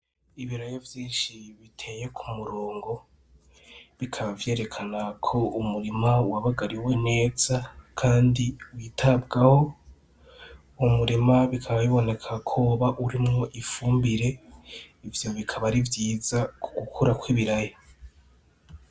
Ibiraya vyinshi biteye ku murongo bikaba vyerekana ko umurima wabagariwe neza kandi witabwaho . Uwo murima bikaba biboneka ko woba urimwo ifumbire , ivyo bikaba ari vyiza ku gukura kw’ibiraya .